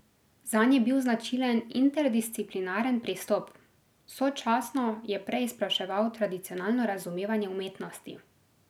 Zanj je bil značilen interdisciplinaren pristop, sočasno je preizpraševal tradicionalno razumevanje umetnosti.